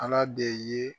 Ala de ye